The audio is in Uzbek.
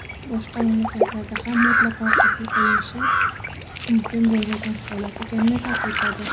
boshqa mamlakatlarda ham mutlaqo qabul qilinishi mumkin bo‘lmagan holat ekanini ta’kidladi.